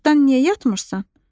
Cırtdan niyə yatmırsan?